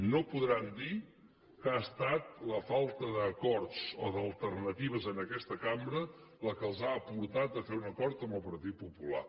no podran dir que ha estat la falta d’acords o d’alternatives en aquesta cambra la que els ha portat a fer un acord amb el partit popular